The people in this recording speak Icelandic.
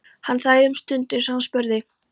Hann þagði um stund uns hann spurði